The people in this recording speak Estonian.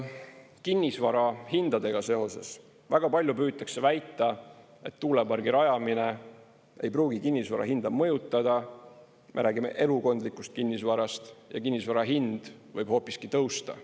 Kinnisvarahindadega seoses: väga palju püütakse väita, et tuulepargi rajamine ei pruugi kinnisvara hinda mõjutada – me räägime elukondlikust kinnisvarast – ja kinnisvara hind võib hoopiski tõusta.